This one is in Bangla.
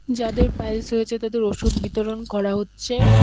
যাদের পাইলস হয়েছে তাদের ওষুধ বিতরণ করা হচ্ছে।